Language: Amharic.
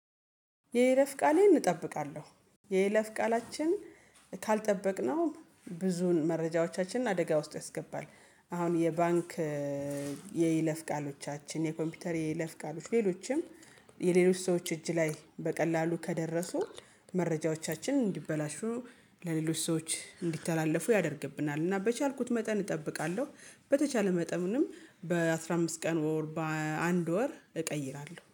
የይለፍ ቃሌን እጠብቃለሁ የይለፍ ቃላችን ካልጠበቅነው ብዙን መረጃዎቻችንን አደጋ ውስጥ ያስገባል። አሁን የባንክ የይለፍ ቃሎቻችን የኮምፒውተር የይለፍ ቃሎች ሌሎችም የሌሎች ሰዎች እጅ ላይ በቀላሉ ከደረሱ። መረጃዎቻችን እንዲበላሹ ለሌሎች ሰዎች እንዲተላለፉ ያደርግብናል። እና በቻልኩት መጠን እጠብቃለሁ በተቻለ መጠንም በአስራ አምስት ቀን በአንድ ወር እቀይራለሁ